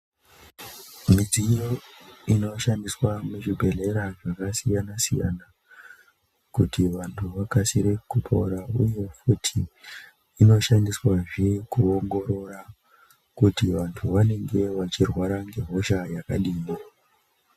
Midziyo inoshandiswa muzvibhedhlera, zvakasiyana siyana kuti vantu vakasire kupora, uye futhi inoshandiswa zve, kuwongorora kuti vantu vanenge vachirwarwa ngehosha yakadini.